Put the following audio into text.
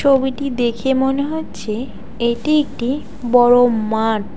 ছবিটি দেখে মনে হচ্ছে এটি একটি বড় মাঠ।